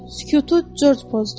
Sükutu Corc pozdu.